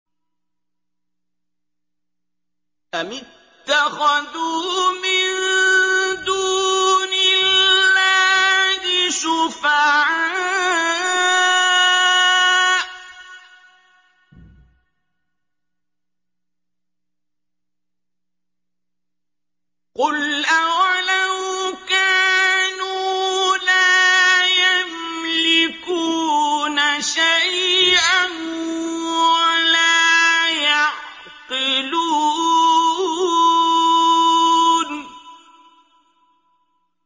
أَمِ اتَّخَذُوا مِن دُونِ اللَّهِ شُفَعَاءَ ۚ قُلْ أَوَلَوْ كَانُوا لَا يَمْلِكُونَ شَيْئًا وَلَا يَعْقِلُونَ